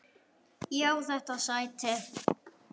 Ég á þetta sæti!